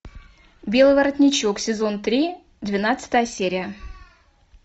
белый воротничок сезон три двенадцатая серия